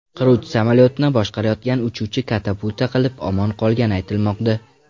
Qiruvchi samolyotni boshqarayotgan uchuvchi katapulta qilib, omon qolgani aytilmoqda.